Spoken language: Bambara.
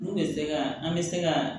N'u bɛ se ka an bɛ se ka